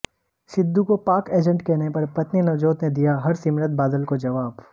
सिद्धू को पाक एजेंट कहने पर पत्नी नवजोत ने दिया हरसिमरत बादल को जवाब